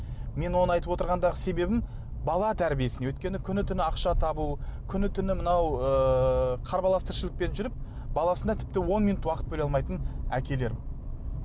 мен оны айтып отырғандағы себебім бала тәрбиесіне өйткені күні түні ақша табу күні түні мынау ыыы қарбалас тіршілікпен жүріп баласына тіпті он минут уақыт бөле алмайтын әкелер